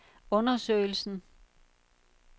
undersøgelsen